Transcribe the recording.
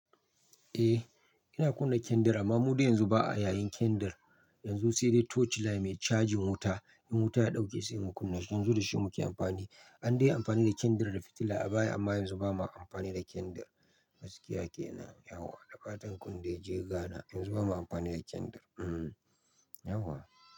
Eh ina kunna candle amma mu dai yanzu ba a yayin candle. Yanzu sai dai torchlight mai cajin wuta in wuta ya ɗauke sai mu kunna shi. Yanzu da shi muke amfani. An dai yi amfani da candle da fitila a baya amma yanzu ba ma amfani da candle. Gaskiya kenan yauwa. Da fatan kunde je Ghana, yanzu ba ma amfani da candle. Hmm yauwa.